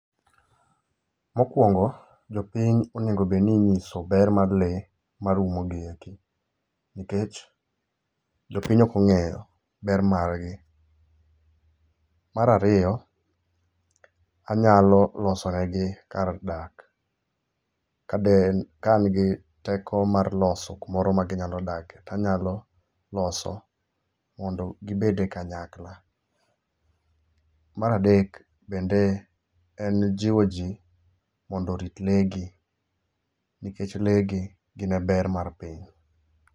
Mokwongo, jopiny onego bedo ninyiso be mar lee marumo gieki. Nikech jopiny okong'eyo ber margi. Marario, anyalo losone gi kar dak. Kadeen, ka angi teko mar loso kumoro ma ginyalo dake, tanyalo loso mondo gibede kanyakla. Maradek bende en jiwo jii mondo orit leegi, nikech leegi gine ber mar piny.